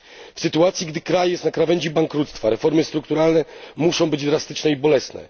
W sytuacji, gdy kraj stoi na krawędzi bankructwa, reformy strukturalne muszą być drastyczne i bolesne.